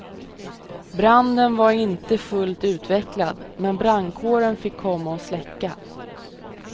Branden var inte fullt utvecklad, men brandkåren fick komma och släcka.